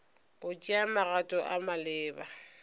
go tšea magato a maleba